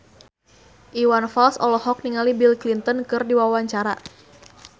Iwan Fals olohok ningali Bill Clinton keur diwawancara